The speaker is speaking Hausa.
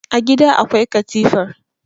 a gida akwai katifar